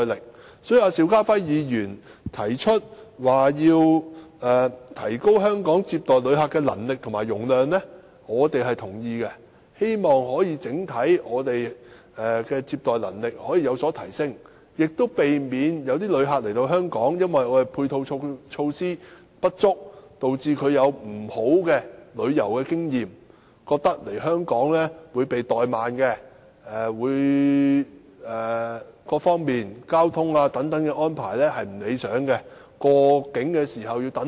因此，民主黨對邵家輝議員提出要提高香港接待旅客的能力和容量表示贊同，希望整體接待旅客的能力有所提升，亦避免訪港旅客因配套措施不足而有不快的旅遊經驗，認為在香港被怠慢，而各方面如交通安排未如理想，入境輪候時間又長。